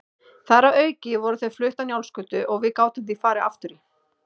Þar að auki voru þau flutt á Njálsgötu og við gátum því farið aftur í